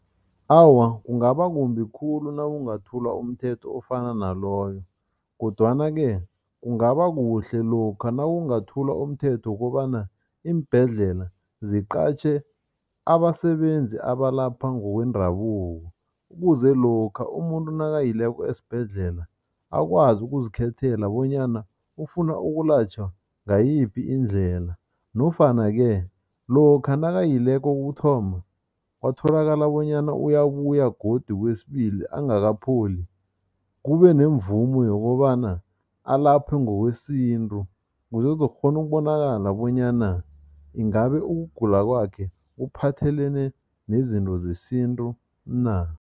Awa, kungaba kumbi khulu nawungathula umthetho ofana naloyo kodwana-ke kungaba kuhle lokha nawungathula umthetho wokobana iimbhedlela ziqatjhe abasebenzi abalapha ngokwendabuko ukuze lokha umuntu nakayileko esibhedlela akwazi ukuzikhethela bonyana ufuna ukulatjhwa ngayiphi indlela nofana-ke lokha nakayileko kokuthoma, kwatholakala bonyana uyabuya godu kwesibili angakapholi, kube nemvumo yokobana alaphwe ngokwesintu kuze kuzokukghona ukubonakala bonyana ingabe ukugula kwakhe kuphathelene nezinto zesintu na.